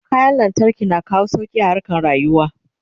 kayan lantarki na kawo sauki a harkan rayuwa